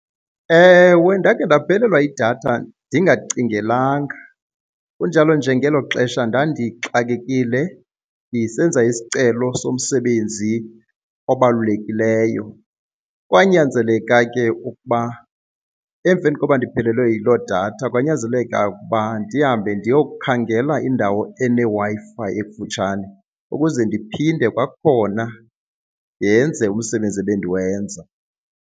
Ewe, ndakhe ndaphelelwa yidatha ndingacingelanga kunjalo nje ngelo xesha ndandixakekile ndisenza isicelo somsebenzi obalulekileyo. Kwanyanzeleka ke ukuba, emveni koba ndiphelelwe yiloo datha kwanyanzeleka ukuba ndihambe ndiyokukhangela indawo eneWi-Fi ekufutshane ukuze ndiphinde kwakhona yenze umsebenzi ebendiwenza.